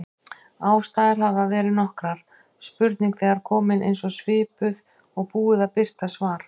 Ástæður hafa verið nokkrar: Spurning þegar komin, eins eða svipuð, og búið að birta svar.